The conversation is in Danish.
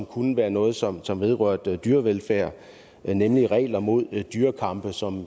kunne være noget som som vedrørte dyrevelfærd nemlig regler mod dyrekampe som